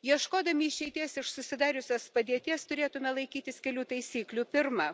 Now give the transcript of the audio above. Ieškodami išeities iš susidariusios padėties turėtume laikytis kelių taisyklių. Pirma